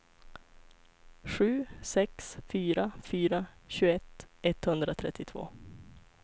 sju sex fyra fyra tjugoett etthundratrettiotvå